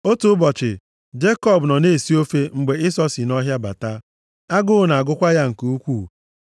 Otu ụbọchị, Jekọb nọ na-esi ofe mgbe Ịsọ si nʼọhịa bata. Agụụ na-agụkwa ya nke ukwuu.